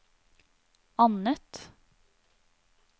annet